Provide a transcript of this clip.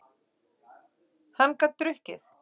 Hann gat drukkið.